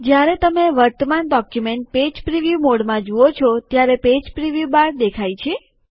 જયારે તમે વર્તમાન ડોક્યુમેન્ટ પેજ પ્રીવ્યુ મોડમાં જુઓ છો ત્યારે પેજ પ્રીવ્યુ બાર દેખાય છે